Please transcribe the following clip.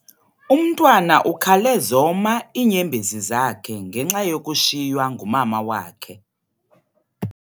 Umntwana ukhale zoma iinyembezi zakhe ngenxa yokushiywa ngumama wakhe.